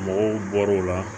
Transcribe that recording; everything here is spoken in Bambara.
Mɔgɔw bɔr'u la